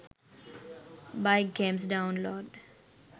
bike games download